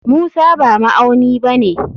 Musa ba ma'auni bane.